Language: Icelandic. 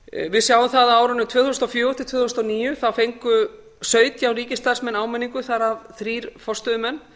við sjáum það að á árinu tvö þúsund og fjögur til tvö þúsund og níu fengu sautján ríkisstarfsmenn áminningu þar af þrír forstöðumenn